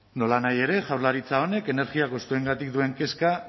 nolanahi ere jaurlaritza honek energia kostuengatik duen kezka